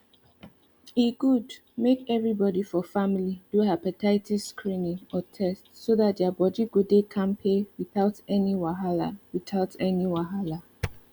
e good make everybody for family do hepatitis screening or test so that their body go dey kampe without any wahala without any wahala